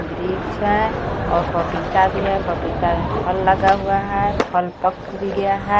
वृक्ष हे और पपीता भी हे पपीता मे फल लगा हुआ हे फल पक भी गया हे.